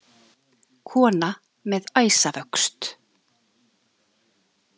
Kona með æsavöxt.